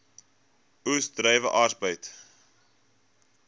oes druiwe arbeid